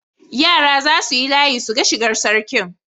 Yara za su yi layi su ga shigar Sarkin.